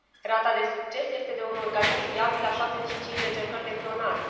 Rata de succes este de un organism viabil la 75 de încercări de clonare.